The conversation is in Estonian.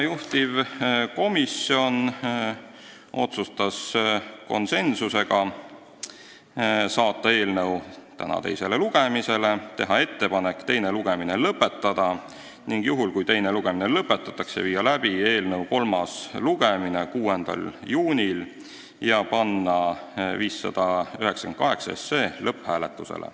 Juhtivkomisjon otsustas konsensusega saata eelnõu tänaseks teisele lugemisele, teha ettepaneku teine lugemine lõpetada ning juhul, kui teine lugemine lõpetatakse, viia läbi kolmas lugemine 6. juunil ja panna siis eelnõu 598 lõpphääletusele.